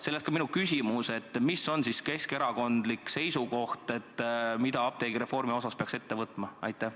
Sellest ka minu küsimus: mis on Keskerakonna seisukoht, mida apteegireformi osas peaks ette võtma?